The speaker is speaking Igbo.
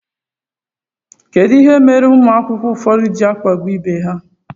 Kedụ ihe mere ụmụ akwụkwọ ụfọdụ ji akpagbu ibe ha?